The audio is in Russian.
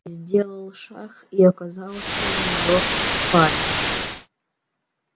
сделал шаг и оказался в её спальне